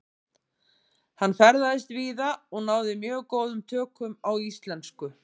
Hann ferðaðist víða og náði mjög góðum tökum á íslensku.